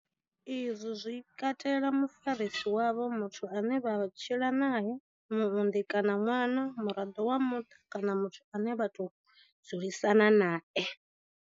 Izwi zwi katela mufarisi wavho, muthu ane vha tshila nae, muunḓi kana ṅwana, muraḓo wa muṱa kana muthu ane vha tou dzulisana nae.